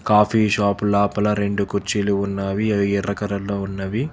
Coffee shop లోపల రెండు కుర్చీలు ఉన్నవి అవి ఎర్ర కలర్లో ఉన్నవి.